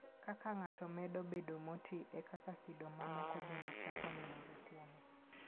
Kaka ng'ato medo bedo moti, e kaka kido mamoko bende chako nenore kuome.